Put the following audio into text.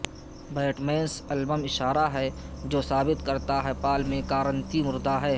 bat مینس album اشارہ ہے جو ثابت کرتا ہے پال میکارتنی مردہ ہے